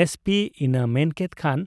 SP ᱤᱱᱟᱹᱜ ᱢᱮᱱᱠᱮᱫ ᱠᱷᱟᱱ